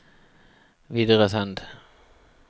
videresend